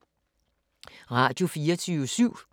Radio24syv